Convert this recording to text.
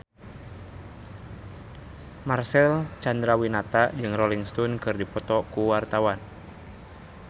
Marcel Chandrawinata jeung Rolling Stone keur dipoto ku wartawan